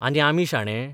आनी आमी शाणे?